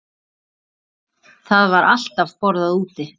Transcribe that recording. Það var alltaf borðað úti.